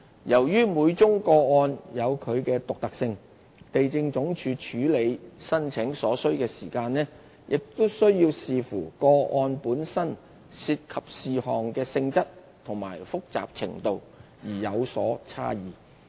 由於每宗個案有其獨特性，地政總署處理申請所需時間會視乎個案本身涉及事項的性質和複雜程度而有所差異。